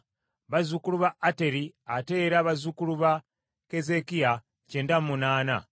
bazzukulu ba Ateri ow’olunnyiriri lwa Keezeekiya kyenda mu munaana (98),